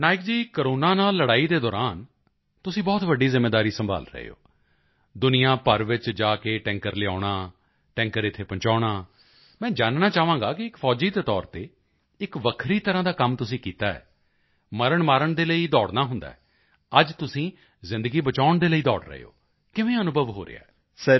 Patnaik ji corona ਨਾਲ ਲੜਾਈ ਦੇ ਦੌਰਾਨ ਤੁਸੀਂ ਬਹੁਤ ਵੱਡੀ ਜ਼ਿੰਮੇਵਾਰੀ ਸੰਭਾਲ ਰਹੇ ਹੋ ਦੁਨੀਆ ਭਰ ਵਿੱਚ ਜਾ ਕੇ ਟੈਂਕਰ ਲਿਆਉਣਾ ਟੈਂਕਰ ਇੱਥੇ ਪਹੁੰਚਾਉਣਾ ਮੈਂ ਜਾਨਣਾ ਚਾਹਾਂਗਾ ਕਿ ਇੱਕ ਫੌਜੀ ਦੇ ਤੌਰ ਤੇ ਇੱਕ ਵੱਖਰੀ ਤਰ੍ਹਾਂ ਦਾ ਕੰਮ ਤੁਸੀਂ ਕੀਤਾ ਹੈ ਮਰਨਮਾਰਨ ਦੇ ਲਈ ਦੌੜਨਾ ਹੁੰਦਾ ਹੈ ਅੱਜ ਤੁਸੀਂ ਜ਼ਿੰਦਗੀ ਬਚਾਉਣ ਦੇ ਲਈ ਦੌੜ ਰਹੇ ਹੋ ਕਿਵੇਂ ਅਨੁਭਵ ਹੋ ਰਿਹਾ ਹੈ